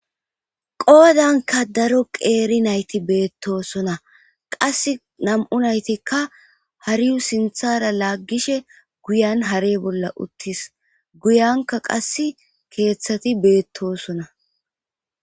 Poodanka daro qeeri nayti beettosona qass nam7u naytikka hariyu sinthara laaggishe guyan hare bolla uttis guyanka qass keeththati beettosona